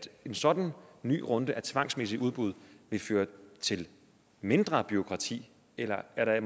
en sådan ny runde af tvangsmæssige udbud vil føre til mindre bureaukrati eller er der